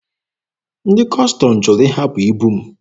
Ndị Kọstọm jụrụ ịhapụ ibu m.